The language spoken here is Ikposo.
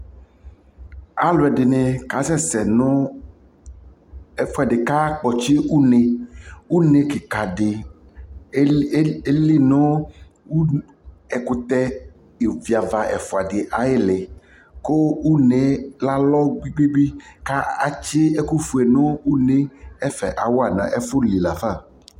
alʋɛdini kasɛsɛ nʋ ɛƒʋɛdi kʋ akpɔtsi ʋnɛ, ʋnɛ kikaa di ɛlinʋ ɛkʋtɛ yɔvi aɣa ɛƒʋa di ayili kʋ ʋnɛ alɔ gbigbigbii kʋ atsi ɛkʋ ƒʋɛ nʋ ʋnɛ, ɛƒɛ awa nʋ ɛƒʋli laƒa